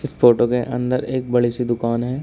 Photo के अंदर एक बड़ी सी दुकान है।